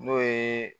N'o ye